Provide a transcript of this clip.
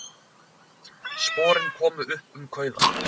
Sporin komu upp um kauða